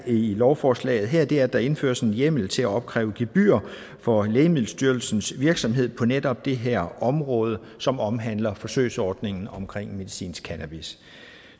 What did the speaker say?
lovforslaget her er at der indføres en hjemmel til at opkræve gebyr for lægemiddelstyrelsens virksomhed på netop det her område som omhandler forsøgsordningen omkring medicinsk cannabis